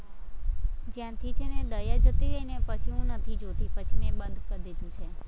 જ્યારથી છેને દયા જતી રઈને પછી હું નથી જોતી, પછી મેં બંધ કરી દીધું છે.